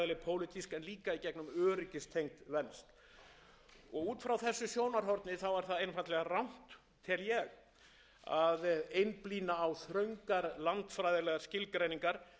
pólitísk en líka í gegnum öryggistengd lönd út frá þessu sjónarhorni er það einfaldlega rangt tel ég að einblína á þröngar landfræðilegar skilgreiningar eins